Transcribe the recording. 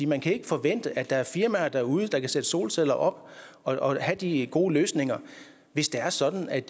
man kan ikke forvente at der er firmaer derude der kan sætte solceller op og have de gode løsninger hvis det er sådan at